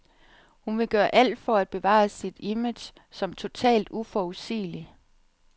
Hun vil gøre alt for at bevare sit image som totalt uforudsigelig.